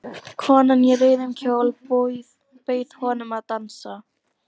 Kona í rauðum kjól bauð honum að dansa.